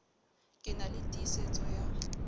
ke na le tiisetso ya